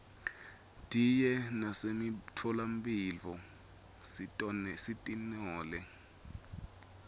diye nasemitfola mphilo sitinole